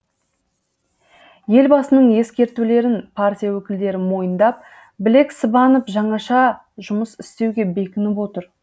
елбасының ескертулерін партия өкілдері мойындап білек сыбанып жаңаша жұмыс істеуге бекініп отыр